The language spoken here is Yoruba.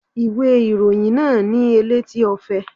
Ìwé ìròyìn náà ni Elétí Ọfẹ.